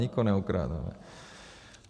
Nikoho neokrádáme.